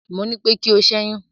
mọ ní pé kí o ṣẹyun